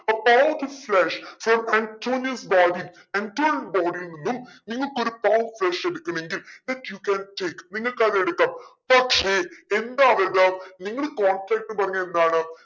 a part of flesh from Antonio's body ആന്റോണിയോടെ body ൽ നിന്നും നിങ്ങക് ഒരു part flesh എടുക്കുമെങ്കിൽ let you can take നിങ്ങക്ക് അതെടുക്കാം പക്ഷെ എന്താ നിങ്ങൾ പറഞ്ഞെതെന്താണ്